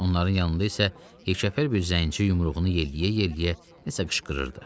Onların yanında isə yekəfər bir zənci yumruğunu yelləyə-yelləyə nəsə qışqırırdı.